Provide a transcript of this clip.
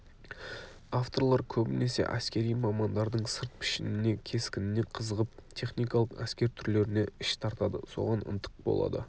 авторлар көбінесе әскери мамандардың сырт пішініне кескініне қызығып техникалық әскер түрлеріне іш тартады соған ынтық болады